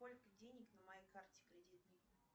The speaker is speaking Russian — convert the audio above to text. сколько денег на моей карте кредитной